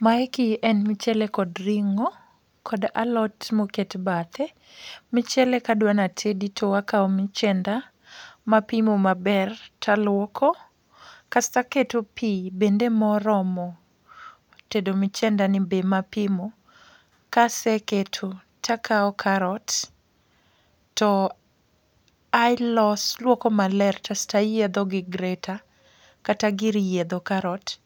Maeki en mchele kod ring'o kod alot moket bathe. Mchele kadwana tedi to akawo michenda mapimo maber taluoko, kasta keto pi bende moromo tedo mchenda ni be mapimo. Kaseketo takawo karot, to alos alwoko maler kasta yiedho gi greta, kata gir yiedho karot.